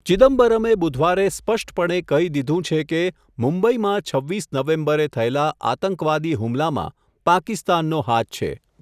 ચિદમ્બરમે બુધવારે સ્પષ્ટપણે કહી દીધું છે કે, મુંબઈમાં છવ્વીસ નવેમ્બરે થયેલા, આતંકવાદી હુમલામાં પાકિસ્તાનનો હાથ છે.